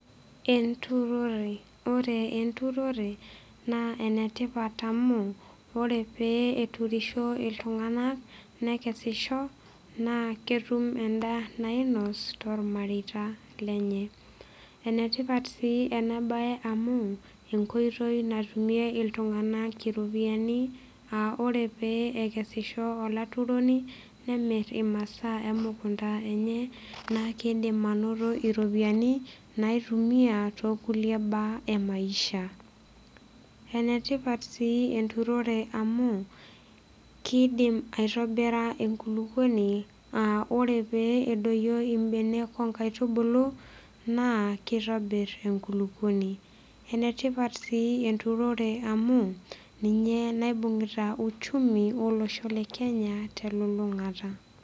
Enturore ore enturore naa enetipat amu ore pee eturisho iltung'anak nekesisho naa ketum endaa nainos tormareita lenye enetipat sii ena baye amu enkoitoi natumie iltung'anak iropiyiani aa ore pee ekesisho olaturoni nemirr imasaa emukunta enye naa keidim anoto iropiyiani naitumia tokulie baa emaisha enetipat sii enturore amu kidim aitobira enkulukuoni aa ore pee edoyio imbenek onkaitubulu naa kitobirr enkulukuoni enetipat sii enturore amu ninye naibung'ita uchumi olosho le kenya telulung'ata.